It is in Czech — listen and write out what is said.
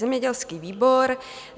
"Zemědělský výbor